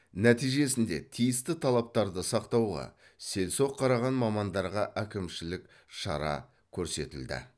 нәтижесінде тиісті талаптарды сақтауға селсоқ қараған мамандарға әкімшілік шара көрсетілді